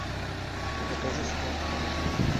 покажи спорт